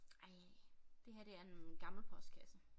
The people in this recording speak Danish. Ej det her det er en gammel postkasse